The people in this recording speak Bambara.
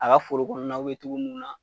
A ka foro kɔɔnaw be togo mun na